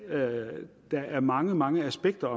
at der er mange mange aspekter